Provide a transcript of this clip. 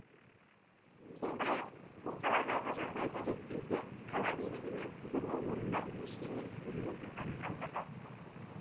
сондай ақ бұл саладағы жағдайды реттеуге қала билігі мен құзырлы орындар ештеңе істемей отырғанын алға тартты